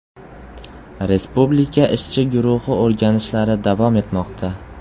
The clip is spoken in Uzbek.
Respublika ishchi guruhi o‘rganishlari davom etmoqda.